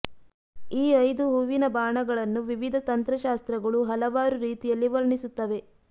ಈ ಐದು ಹೂವಿನ ಬಾಣಗಳನ್ನು ವಿವಿಧ ತಂತ್ರ ಶಾಸ್ತ್ರಗಳು ಹಲವಾರು ರೀತಿಯಲ್ಲಿ ವರ್ಣಿಸುತ್ತವೆ